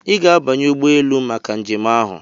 Ị ga-abanye ụgbọ elu maka njem ahụ!